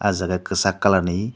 ah jaga kisak colour ni.